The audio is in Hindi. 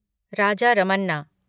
राजा रमन्ना